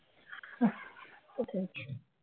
সেটাই